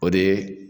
O de ye